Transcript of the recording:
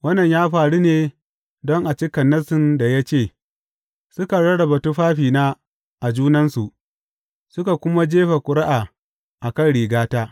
Wannan ya faru ne don a cika nassin da ya ce, Suka rarraba tufafina a junansu, suka kuma jefa ƙuri’a a kan rigata.